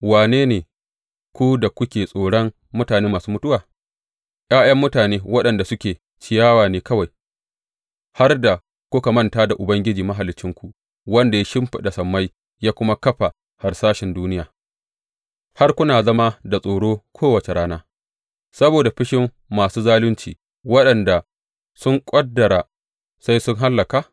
Wane ne ku da kuke tsoron mutane masu mutuwa, ’ya’yan mutane waɗanda suke ciyawa ne kawai, har da kuka manta da Ubangiji Mahaliccinku, wanda ya shimfiɗa sammai ya kuma kafa harsashen duniya, har kuna zama da tsoro kowace rana saboda fushin masu zalunci, waɗanda sun ƙudura sai sun hallaka?